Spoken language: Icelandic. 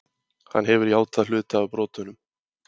Hann hefur játað hluta af brotunum